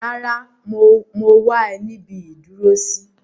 Rárá, mo wá ẹ níbi ìdúró sí.